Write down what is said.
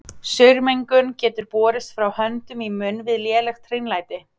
Saurmengun getur borist frá höndum í munn við lélegt hreinlæti.